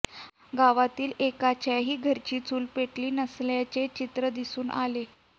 गावातील एकाच्याही घरची चूल पेटली नसल्याचे चित्र दिसून आले